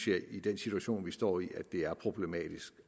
jeg i den situation vi står i at det er problematisk